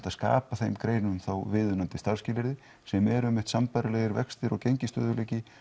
að skapa þeim greinum viðunandi starfsskilyrði sem eru einmitt sambærilegir vextir og gengisstöðugleiki